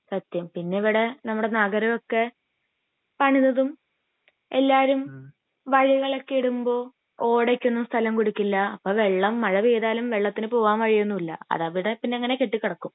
സത്യം പിന്നെ ഇവിടെ നമ്മുടെ നഗരം ഒക്കെ പണിതതും എല്ലാരും വഴികളൊക്കെ ഇടുമ്പോ ഓടക്കൊന്നും സ്ഥലം കൊടുക്കില്ല അപ്പൊ വെള്ളം മഴ പെയ്താലും വെള്ളത്തിന് പോവാൻ വഴിയൊന്നും ഇല്ല അതവിടെ പിന്നെ അങ്ങിനെ കെട്ടിക്കേടക്കും